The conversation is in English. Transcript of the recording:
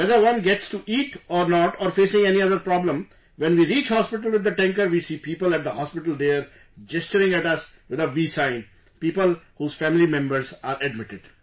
Whether one gets to eat or not...or facing any other problem...when we reach hospital with the tanker, we see people at the hospital there gesturing at us with a V sign...people whose family members are admitted